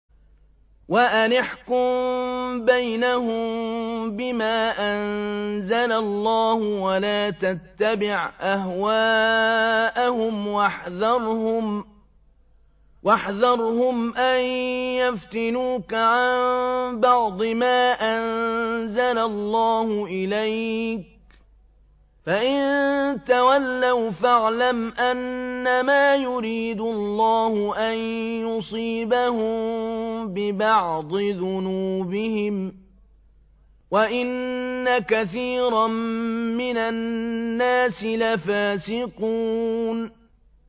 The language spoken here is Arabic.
وَأَنِ احْكُم بَيْنَهُم بِمَا أَنزَلَ اللَّهُ وَلَا تَتَّبِعْ أَهْوَاءَهُمْ وَاحْذَرْهُمْ أَن يَفْتِنُوكَ عَن بَعْضِ مَا أَنزَلَ اللَّهُ إِلَيْكَ ۖ فَإِن تَوَلَّوْا فَاعْلَمْ أَنَّمَا يُرِيدُ اللَّهُ أَن يُصِيبَهُم بِبَعْضِ ذُنُوبِهِمْ ۗ وَإِنَّ كَثِيرًا مِّنَ النَّاسِ لَفَاسِقُونَ